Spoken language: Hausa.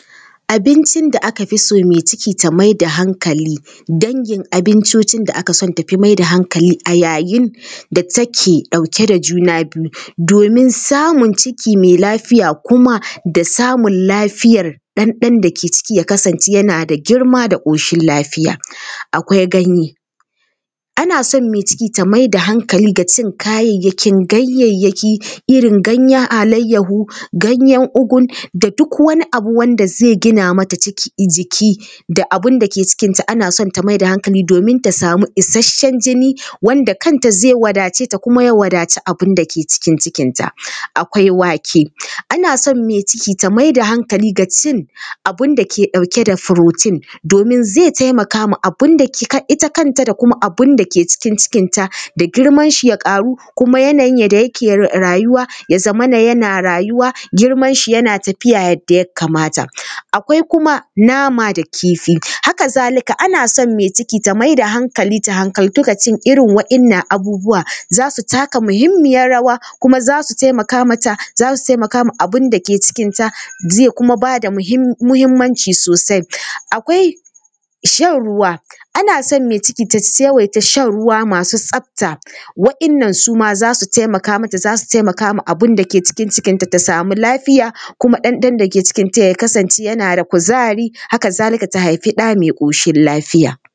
Abincin da aka fi so mai ciki ta mai da hankali dangin abincocin da ake son ta mai da hankali a yayin da take ɗauke da juna biyu domin samun ciki mai lafiya kuma da samun lafiyar ɗan ɗan da ke ciki ya kasance yana da girma da ƙoshin lafiya. Akwai ganye: ana son mai ciki ta mai da hankali ga kayayyakin ganyayyaki, irin ganyen alayyahu, ganyen ugu da duk wani abu wanda zai gina mata jiki da abin da ke cikinta, ana son ta mai da hankali domin ta samu isasshen jini wanda kanta zai wadace ta kuma zai wadaci abin da ke cikin cikinta. Akwai wake: ana son mai ciki ta mai da hankali ga cin abin da ke ɗauke da protein domin zai taimaka ma abin da… ita kanta da kuma abin da ke cikin cikinta da girmanshi ya ƙaru kuma yanayin yadda yake rayuwa ya zamana yana rayuwa, girmanshi yana tafiya yadda ya kamata. Akwai kuma nama da kifi: haka zalika ana son mai ciki ta mai da hankali, ta hankaltu ga cin irin waɗannan abubuwa, za su taka muhimmiyar rawa kuma za su taimaka mata, za su taimaka ma abin da ke cikinta, zai kuma ba da muhimmanci sosai. Akwai shan ruwa: ana son mai ciki ta yawaita shan ruwa masu tsafta. Waɗannan su ma za su taimaka mata, za su taimaka ma abin da ke cikin cikinta, ta samu lafiya kuma ɗan ɗan da ke cikinta ya kasance yana da kuzari, haka zalika ta haifi ɗa mai ƙoshin lafiya.